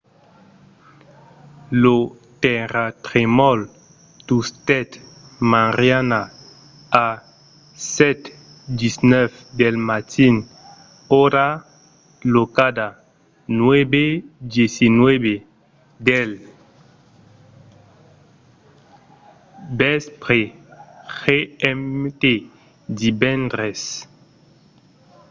lo tèrratremol tustèt mariana a 7:19 del matin ora locala 9:19 del vèspre gmt divendres